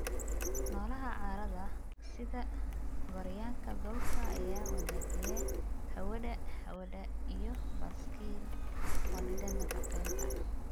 Noolaha carrada sida gooryaanka dhulka ayaa wanaajiya hawada hawada iyo baaskiil wadida nafaqeynta.